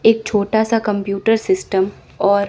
एक छोटा सा कंप्यूटर सिस्टम और--